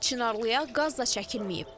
Çınarlıya qaz da çəkilməyib.